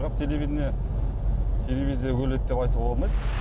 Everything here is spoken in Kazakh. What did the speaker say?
бірақ телевидение телевизия өледі деп айтуға болмайды